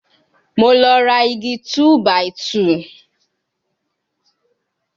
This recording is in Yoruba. Mo lọ ra igi 2-by-2